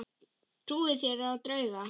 Trúið þér á drauga?